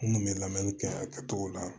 N kun bɛ lamɛnni kɛ a kɛcogo la